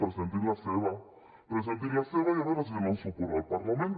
presentin la seva presentin la seva i a veure si els donen suport al parlament